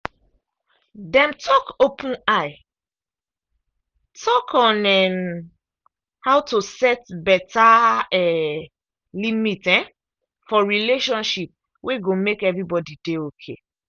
dem talk open eye talk on um how to set better um limit um for relationship wey go make everybody dey okay.